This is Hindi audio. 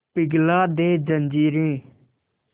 पिघला दे जंजीरें